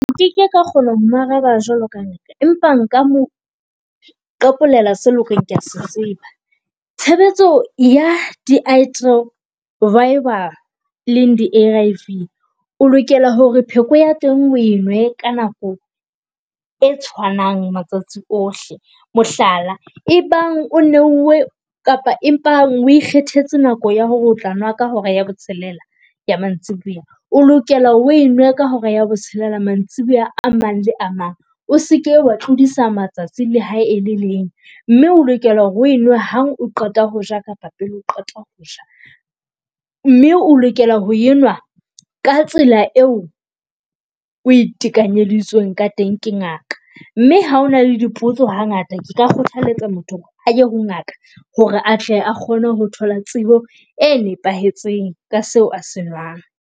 Nkeke ka kgona ho mo araba jwalo ka . Empa nka mo qapolela seo eleng hore kea se tseba. Tshebetso ya eleng di A_R_V, o lokela hore pheko ya teng o nwe ka nako e tshwanang matsatsi ohle. Mohlala, ebang o neuwe kapa empa o ikgethetse nako ya hore o tla nwa ka hora ya botshelela ya mantsiboya, o lokela hore o e nwe ka hora ya botshelela mantsiboya a mang le a mang. O seke wa tlodisa matsatsi le hae e le leng mme o lokela ho enwe ha o qeta hoja kapa pele o qeta hoja mme o lokela ho enwa ka tsela eo o e tekanyeditsweng ka teng ke ngaka. Mme ha hona le dipotso ha ngata, ke ka kgothaletsa motho hore aye ho ngaka hore atle a kgone ho thola tsebo e nepahetseng ka seo a se nwang.